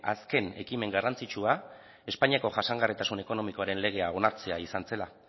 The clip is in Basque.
azken ekimen garrantzitsua espainiako jasangarritasun ekonomiaren legea onartzea izan zela